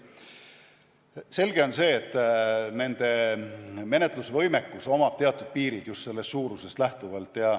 Selge on see, et nende menetlusvõimekusel on teatud piirid, just sellest suurusest lähtuvalt.